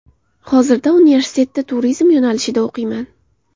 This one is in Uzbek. Hozirda universitetda turizm yo‘nalishida o‘qiyman.